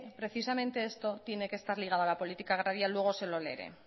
precisamente esto tiene que estar ligada a la política agraria luego se lo leeré